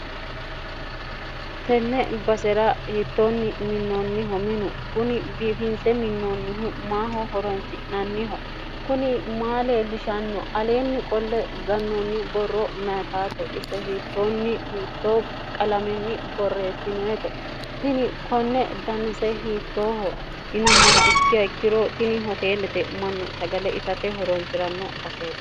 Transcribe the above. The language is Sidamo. tenne basera hiittoonni minnoonniho minu kuni biifinse minnoonnihu maaho horonsi'nanniho kuni maa leellishanno aleenni qolle gannoonni borro mayetaate ise hiittoonni hiittoo qalamenni borreessinoyete tini konne danise hiittooho yinummoha ikkiha ikkiro tini hoteellete mannu sagale itate horoonsi'ranno baseete